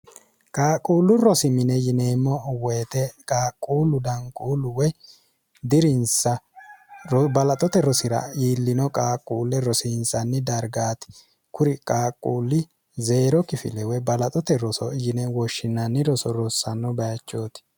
qaaqquullu rosimine yineemmo woyite qaaqquullu danquullu woy dirinsa balaxote rosira yiillino qaaqquulle rosiinsanni dargaati kuri qaaqquulli zeero kifilewe balaxote roso yine woshshinanni roso rossanno bayachooti